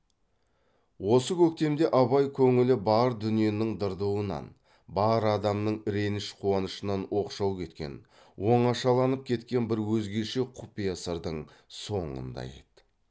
осы көктемде абай көңілі бар дүниенің дырдуынан бар адамның реніш қуанышынан оқшау кеткен оңашаланып кеткен бір өзгеше құпия сырдың соңында еді